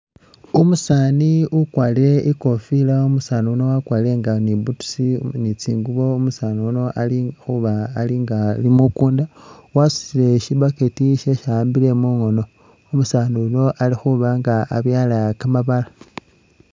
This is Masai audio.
Umusaani ukwarire ikofila umusaani yuno waakwarire nga ni butusi ni tsingubo, umusaani yuno ili khuba nga alinga ali mukunda wasutile shi bucket shesi awaambile mungono umusaani yuno alikhubanga abyala kamabala.